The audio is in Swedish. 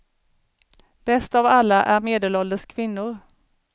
Bäst av alla är medelålders kvinnor.